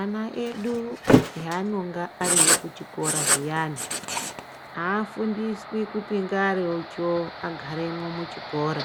Ana edu haanonga ariyo kuchikora zviyani afundiswi kuti ngaricho agaremwo muchikora